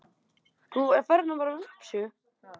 Það sé í skoðun.